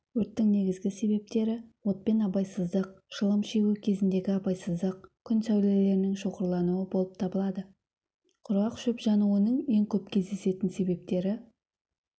өрттің негізгі себептері отпен абайсыздық шылым шегу кезіндегі абайсыздық күн сәулелерінің шоғырлануы болып табылады құрғақ шөп жануының ең көп кездесетін себептері